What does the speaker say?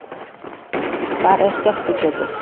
Hvar er skerpikjötið?